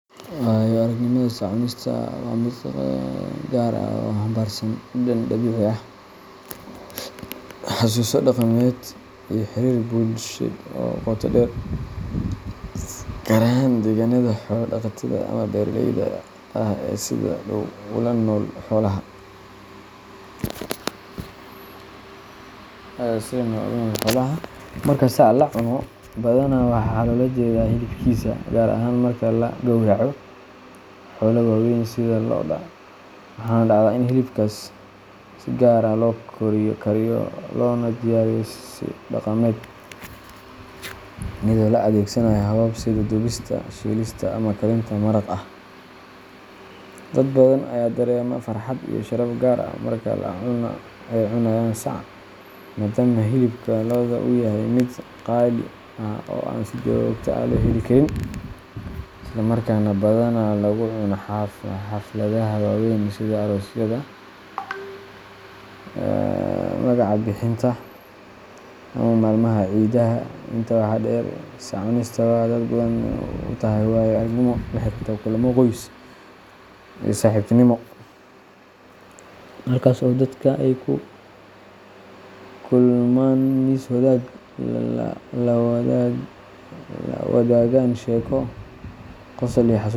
Waayo-aragnimada sac-cunista waa mid gaar ah oo xambaarsan dhadhan dabiici ah, xasuuso dhaqameed, iyo xiriir bulsheed oo qoto dheer, gaar ahaan deegaanada xoolo-dhaqatada ama beeraleyda ah ee sida dhow ula nool xoolaha. Marka sac la cuno, badanaa waxaa loola jeedaa hilibkiisa gaar ahaan marka la gawraco xoolo waaweyn sida lo’da waxaana dhacda in hilibkaas si gaar ah loo kariyo loona diyaariyo si dhaqameed, iyadoo la adeegsanayo habab sida dubista, shiilista, ama karinta maraq ah. Dad badan ayaa dareema farxad iyo sharaf gaar ah marka ay cunayaan sac, maadaama hilibka lo’da uu yahay mid qaali ah oo aan si joogto ah loo heli karin, isla markaana badanaa lagu cunaa xafladaha waaweyn sida aroosyada, magaca-bixinta, ama maalmaha ciidaha. Intaa waxaa dheer, sac-cunista waxay dad badan u tahay waayo-aragnimo la xiriirta kulammo qoys iyo saaxiibtinimo, halkaas oo dadka ay ku kulmaan miis wadaag ah, la wadaagaan sheeko, qosol iyo xasuuso wanaagsan.